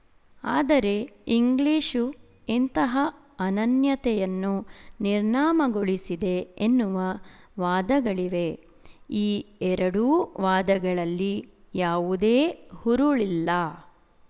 ಆದರೆ ಇಂಗ್ಲಿಶು ಇಂತಹ ಅನನ್ಯತೆಯನ್ನು ನಿರ್ನಾಮಗೊಳಿಸಿದೆ ಎನ್ನುವ ವಾದಗಳಿವೆ ಈ ಎರಡೂ ವಾದಗಳಲ್ಲಿ ಯಾವುದೇ ಹುರುಳಿಲ್ಲ